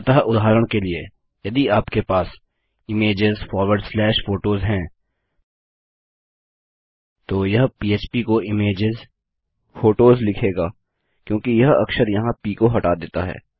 अतः उदाहरण के लिए यदि आपके पास इमेजेस फॉरवर्ड स्लैश फोटोस है तो यह पह्प को images होटोस लिखेगा क्योंकि यह अक्षर यहाँ प को हटा देता है